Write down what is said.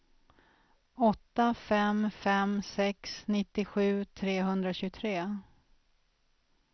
åtta fem fem sex nittiosju trehundratjugotre